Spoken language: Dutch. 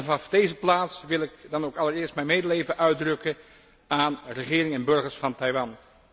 Vanaf deze plaats wil ik dan ook allereerst mijn medeleven uitdrukken aan regering en burgers van Taiwan.